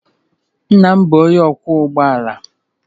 Nna m bụ onye ọkwọ ụgbọ ala